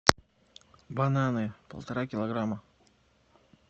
бананы полтора килограмма